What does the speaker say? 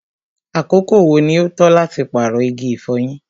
àkókò wo ní o tọ́ láti paarọ igi ifọ̀yín?